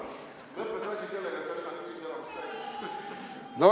Asi lõppes sellega, et ta visati ühiselamust välja.